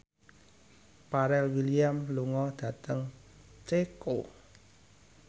Pharrell Williams lunga dhateng Ceko